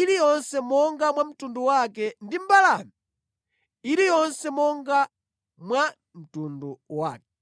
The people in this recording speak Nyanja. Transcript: iliyonse monga mwa mtundu wake ndi mbalame iliyonse monga mwa mtundu wake.